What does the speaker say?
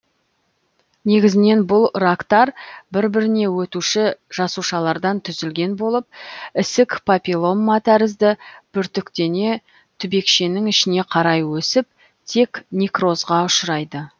негізінен бұл рактар бір біріне өтуші жасушалардан түзілген болып ісік папиллома тәрізді бүртіктене түбекшенің ішіне қарай өсіп тек некрозға ұшырайды